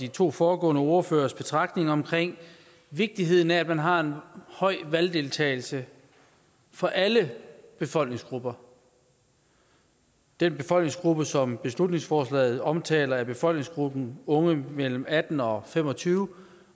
de to foregående ordføreres betragtninger om vigtigheden af at man har en høj valgdeltagelse for alle befolkningsgrupper den befolkningsgruppe som beslutningsforslaget omtaler er befolkningsgruppen af unge mellem atten og fem og tyve